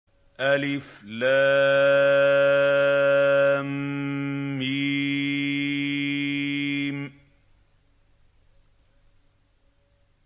الم